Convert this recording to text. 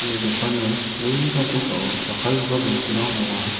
ia dokano bolni kamko ka·o jakkalgipa bosturang ong·a.